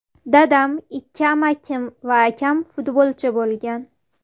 Dadam, ikki amakim va akam futbolchi bo‘lgan.